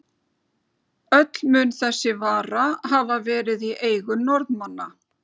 Öll mun þessi vara hafa verið í eigu Norðmanna.